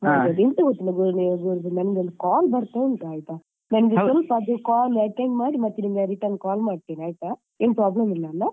ಎಂತ ಗೊತ್ತುಂಟಾ ನನ್ಗೆ ಒಂದು call ಬರ್ತಾ ಉಂಟು ಆಯ್ತಾ ನಂಗೆ ಸ್ವಲ್ಪ ಅದು call attend ಮಾಡಿ ನಿಮ್ಗೆ ಮತ್ತೆ return ಮಾಡ್ತೆ ಆಯ್ತಾ ಏನ್ problem ಇಲ್ಲಲ.